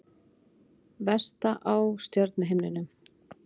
Vesta á stjörnuhimninum